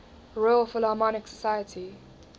royal philharmonic society